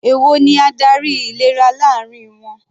Èwo ni adarí ìlera láàrin wọn?